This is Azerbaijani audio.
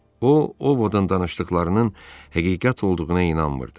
O, Ovodan danışdıqlarının həqiqət olduğuna inanmırdı.